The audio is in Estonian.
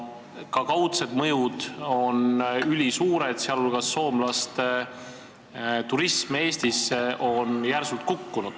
Ka kaudsed mõjud on ülisuured, sh on järsult kukkunud soomlaste turism Eestisse.